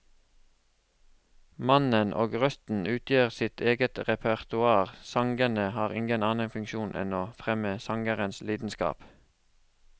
Mannen og røsten utgjør sitt eget repertoar, sangene har ingen annen funksjon enn å fremme sangerens lidenskap.